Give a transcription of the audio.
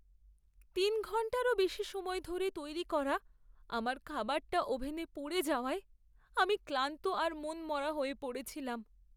তিন ঘন্টারও বেশি সময় ধরে তৈরি করা আমার খাবারটা ওভেনে পুড়ে যাওয়ায়, আমি ক্লান্ত আর মনমরা হয়ে পড়েছিলাম।